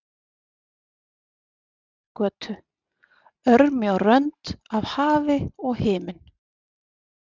Sjafnargötu, örmjó rönd af hafi og himinn.